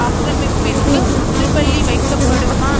ஆக்கிரமிப்பிற்கு முற்றுப்புள்ளி வைக்கப்படுமா